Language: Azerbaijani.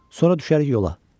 Sonra düşərik yola.